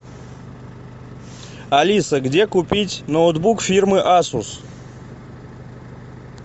алиса где купить ноутбук фирмы асус